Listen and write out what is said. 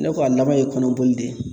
Ne ko a laban ye kɔnɔboli de ye.